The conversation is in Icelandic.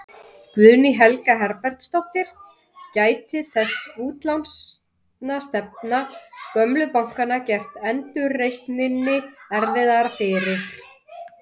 Guðný Helga Herbertsdóttir: Gæti þessi útlánastefna gömlu bankanna gert endurreisninni erfiðara fyrir?